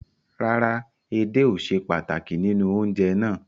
Rárá, èdè ò sè pàtákì nínu ọ̀unjẹ̀ ná